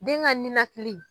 Den ka ninakili.